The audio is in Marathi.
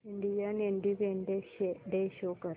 इंडियन इंडिपेंडेंस डे शो कर